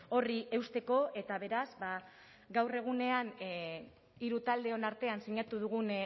horri eusteko eta beraz gaur egunean hiru taldeon artean sinatu dugun